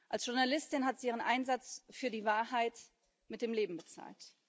Als Journalistin hat sie ihren Einsatz für die Wahrheit mit dem Leben bezahlt.